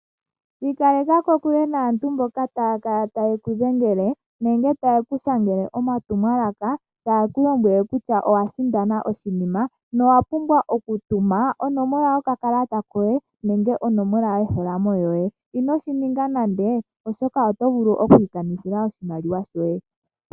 Ikaleka kokule naantu mboka taa kala taye ku dhengele, nenge taye ku shangele omatumwalaka, taye ku lombwele kutya owa sindana oshinima, na owa pumbwa okutuma onomola yokakalata koye, nenge onomola yoye yomeholamo. Inoshi ninga nando, oshoka oto vulu okukanitha oshimaliwa shoye.